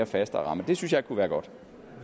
fastere ramme det synes jeg kunne være godt